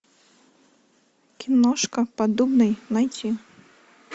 киношка поддубный найти